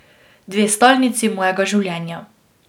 Dve stalnici mojega življenja.